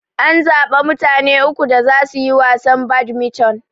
An zaɓa mutane uku da zasu yi wasan badmiton.